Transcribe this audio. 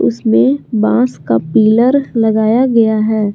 इसमें बांस का पिलर लगाया गया है।